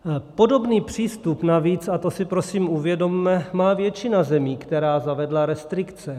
Podobný přístup navíc, a to si prosím uvědomme, má většina zemí, která zavedla restrikce.